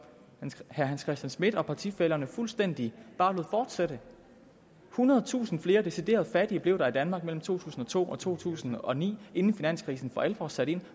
herre hans christian schmidt og partifællerne bare fuldstændig lod fortsætte ethundredetusind flere decideret fattige blev der i danmark mellem to tusind og to og to tusind og ni inden finanskrisen for alvor satte ind og